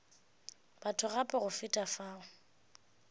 batho gape go feta fao